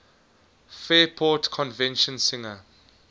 fairport convention singer